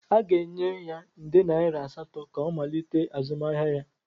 Aga-enye ya nde naira asatọ ka ọ malite azụmahịa ya.